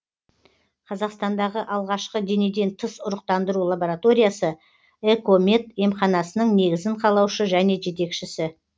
қазақстандағы алғашқы денеден тыс ұрықтандыру лабораториясы экомед емханасының негізін қалаушы және жетекшісі